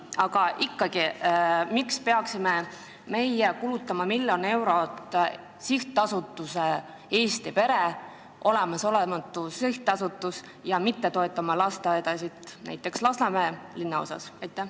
Miks me ikkagi peame kulutama miljon eurot Eesti pere sihtkapitalile, olematule sihtkapitalile, selle asemel et toetada lasteaedasid näiteks Lasnamäe linnaosas?